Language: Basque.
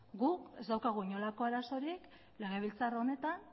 guk ez daukagu inolako arazorik legebiltzar honetan